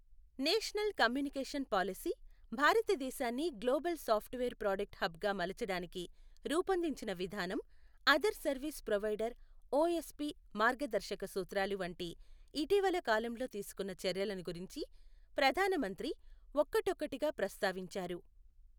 National communication పాలిసీ, భారతదేశాన్ని global software product hub గా మలచడానికి రూపొందించిన విధానం, అదర్ సర్వీస్ ప్రొవైడర్ ఒఎస్పి మార్గదర్శక సూత్రాలు వంటి ఇటీవలి కాలంలో తీసుకొన్న చర్యలను గురించి ప్రధాన మంత్రి ఒక్కటొక్కటిగా ప్రస్తావించారు.